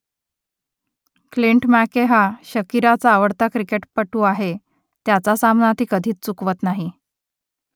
Clint McKay हा शकिराचा आवडता क्रिकेटपटू आहे त्याचा सामना ती कधीच चुकवत नाही